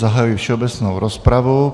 Zahajuji všeobecnou rozpravu.